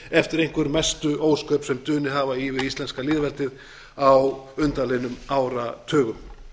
eftir einhver mestu ósköp sem dunið hafa yfir íslenska lýðveldið á undanliðnum áratugum